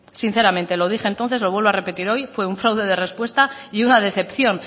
sinceramente lo dije entonces lo vuelvo a repetir hoy fue un fraude de respuesta y una decepción